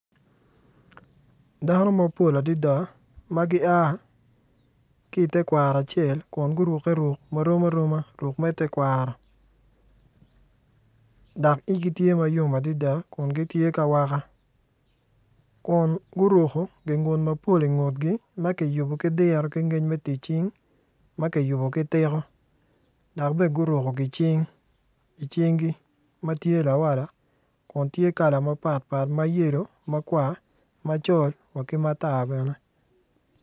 Dano mapol adada ma gia ki i tekwaro acel kun gurukke ruk marom aroma ruk me tekwaro dok igi tye ma yom adada kun gitye ki awaka kun guruko gingut mapol ingutgi ma kiyubo ki diro ki ngec me tic cing ma kiyubo ki tiko dok bene guruko gicing i cinggi ma tye lawala kun tye kala mapatpat ma yelo, makwar, macol wa ki matar bene.